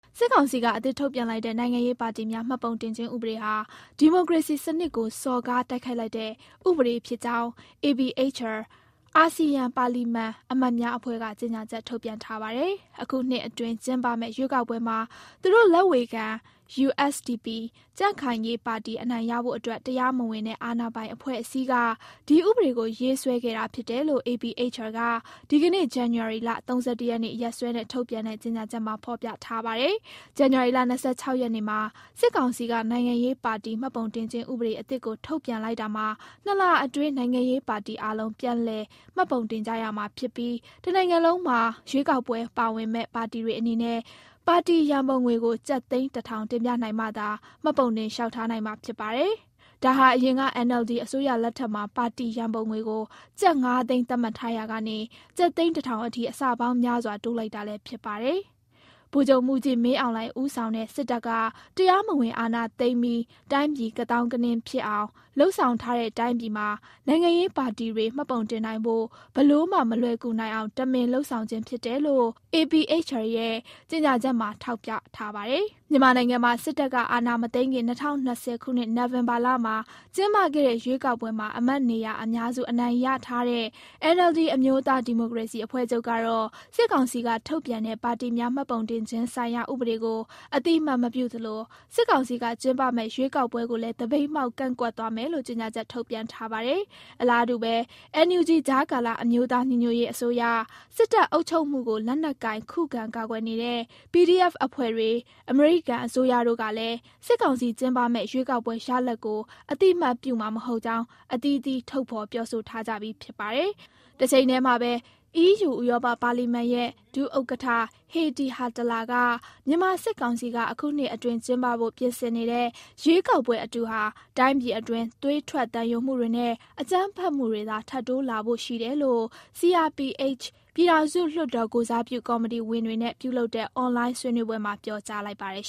စစ်ကောင်စီက အသစ်ထုတ်ပြန်လိုက်တဲ့ နိုင်ငံရေးပါတီများ မှတ်ပုံတင်ခြင်းဥပဒေဟာ ဒီမိုကရေစီစံနစ်ကို စော်ကား တိုက်ခိုက်လိုက်တဲ့ ဥပဒေဖြစ်ကြောင်း APHR အာဆီယံ ပါလီမန်အမတ်များအဖွဲ့က ကြေညာချက်ထုတ်ပြန်ထားပါတယ်။ အခုနှစ်အတွင်း ကျင်းပမယ့် ရွေးကောက်ပွဲမှာ သူတို့လက်ဝေခံ USDP ကြံ့ခိုင်ရေးပါတီ အနိုင်ရဖို့အတွက် တရားမဝင်တဲ့ အာဏာပိုင်အဖွဲ့အစည်းက ဒီဥပဒေကို ရေးဆွဲခဲ့တာဖြစ်တယ်လို့ APHR က ဒီကနေ့ ဇန်နဝါရီ ၃၁ ရက်နေ့ ရက်စွဲနဲ့ ထုတ်ပြန်တဲ့ ြကေညာချက်မှာ ဖော်ပြထားပါတယ်။ ဇန်နဝါရီလ ၂၆ ရက်နေ့မှာ စစ်ကောင်စီက နိုင်ငံရေးပါတီ မှတ်ပုံတင်ခြင်း ဥပဒေအသစ်ကို ထုတ်ပြန်လိုက်တာမှာ - ၂ လ အတွင်း နိုင်ငံရေးပါတီအားလုံး ပြန်လည်မှတ်ပုံတင်ကြရမှာဖြစ်ပြီး တနိုင်ငံလုံးမှာ ရွေးကောက်ပွဲဝင်မယ့် ပါတီတွေအနေနဲ့ ပါတီရန်ပုံငွေကို ကျပ်သိန်း ၁ ထောင် တင်ပြနိုင်မှသာ မှတ်ပုံတင်လျှောက်ထားနိုင်မှာ ဖြစ်ပါတယ်။ဒါဟာ အရင်က NLD အစိုးရလက်ထက်မှာ ပါတီရန်ပုံငွေကို ကျပ် ၅ သိန်း သတ်မှတ်ထားရာက ကျပ်သိန်း ၁ ထောင်အထိ အဆပေါင်းများစွာ တိုးလိုက်တာလည်း ဖြစ်ပါတယ်။ ဗိုလ်ချုပ်မှူးကြီး မင်းအောင်လှိုင် ဦးဆောင်တဲ့ စစ်တပ်က တရားမဝင် အာဏာသိမ်းပြီး တိုင်းပြည် ကသောင်းကနင်းဖြစ်အောင် လုပ်ဆောင်ထားတဲ့ တိုင်းပြည်မှာ နိုင်ငံရေးပါတီတွေ မှတ်ပုံတင်နိုင်ဖို့ ဘယ်လိုမှ မလွယ်ကူနိုင်အောင် တမင်လုပ်ဆောင်ခြင်းဖြစ်တယ်လို့ APHR ရဲ့ကြေညာချက်မှာ ထောက်ပြထားပါတယ်။ မြန်မာနိုင်ငံမှာ စစ်တပ်ကအာဏာမသိမ်းခင် ၂၀၂၀ နိုဝင်ဘာမှာ ကျင်းပခဲ့တဲ့ ရွေးကောက်ပွဲမှာ အမတ်နေရာအများစု အနိုင်ရထားတဲ့ NLD အမျိုးသားဒီမိုကရေစီအဖွဲ့ချုပ်ကတော့ - စစ်ကောင်စီက ထုတ်ပြန်တဲ့ ပါတီများမှတ်ပုံခြင်းဆိုင်ရာ ဥပဒေကို အသိအမှတ်မပြုသလို စစ်ကောင်စီက ကျင်းပမယ့် ရွေးကောက်ပွဲကိုလည်း သပိတ်မှောက် ကန့်ကွက်သွားမယ်လို့ ကြေညာချက် ထုတ်ပြန်ထားပါတယ်။ အလားတူဘဲ NUG ကြားကာလ အမျိုးသားညီညွတ်ရေးအစိုးရ၊ စစ်တပ်အုပ်ချုပ်မှုကို လက်နက်ကိုင် ခုခံကာကွယ်နေတဲ့ PDF တပ်ဖွဲ့တွေ၊ အမေရိကန်အစိုးရတို့ကလည်း စစ်ကောင်စီကျင်းပမယ့် ရွေးကောက်ပွဲရလဒ်ကို အသိအမှတ်ပြုမှာမဟုတ်ကြောင်း အသီးသီး ထုတ်ဖော် ပြောဆိုထားကြပြီး ဖြစ်ပါတယ်။ တချိန်ထဲမှာဘဲ - အီးယူ ဥရောပပါလီမန်ရဲ့ ဒုဥက္ကဋ္ဌ Heidi Hautala က - မြန်မာစစ်ကောင်စီက အခုနှစ်အတွင်းကျင်းပဖို့ ပြင်ဆင်နေတဲ့ ရွေးကောက်ပွဲအတုဟာ တိုင်းပြည်အတွင်း သွေးထွက်သံယိုမှုတွေနဲ့ အကြမ်းဖက်မှုတွေသာ ထပ်တိုးလာဖို့ရှိတယ်လို့ CRPH ပြည်ထောင်စုလွှတ်တော်ကိုယ်စားပြု ကော်မတီဝင်တွေနဲ့ပြုလုပ်တဲ့ အွန်လိုင်း ဆွေးနွေးပွဲမှာ ပြောကြားလိုက်ပါတယ်